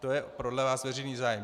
To je podle vás veřejný zájem.